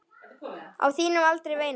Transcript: Á þínum aldri, veinaði